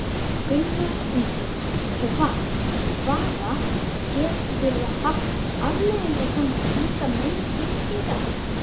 Gunnar Ingi, hvaða, getur það haft afleiðingar svona slíkar myndbirtingar?